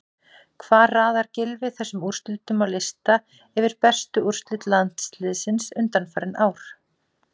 Hvar raðar Gylfi þessum úrslitum á lista yfir bestu úrslit landsliðsins undanfarin ár?